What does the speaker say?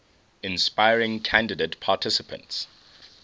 inspiring candidate participants